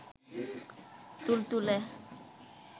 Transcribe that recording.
তুলতুলে